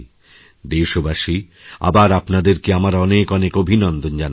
দেশবাসী আবার আপনাদেরকে আমার অনেক অনেক অভিনন্দন জানাচ্ছি